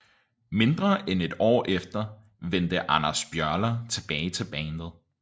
Mindre end et år efter vendte Anders Björler tilbage til bandet